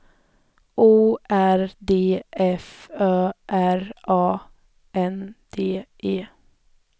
O R D F Ö R A N D E